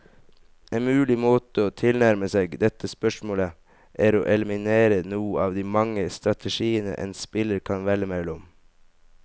En mulig måte å tilnærme seg dette spørsmålet, er å eliminere noen av de mange strategiene en spiller kan velge mellom.